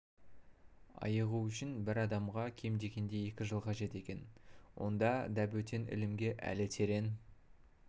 айығу үшін бір адамға кем дегенде екі жыл қажет екен онда дабөтен ілімге әлі терең